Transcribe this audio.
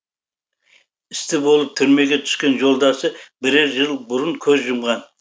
істі болып түрмеге түскен жолдасы бірер жыл бұрын көз жұмған